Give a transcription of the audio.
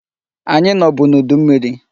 Anyị nọbụ n'udu mmiri.